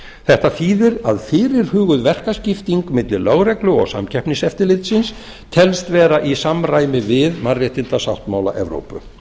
þetta þýðir að fyrirhuguð verkaskipting milli lögreglu og samkeppniseftirlitsins telst vera í samræmi við mannréttindasáttmála evrópu